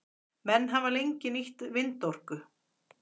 menn hafa lengi nýtt vindorku